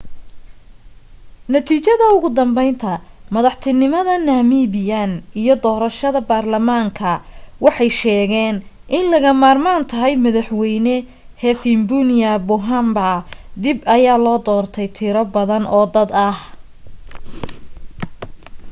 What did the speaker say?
natiijada ugu dambeynta madaxtinimad namibian iyo doorasha barlamaanka waxay sheegeen in laga marmaan tahay madaxweyne hifikepunye pohamba dib ayaa loo doortay tiro badan oo dad ah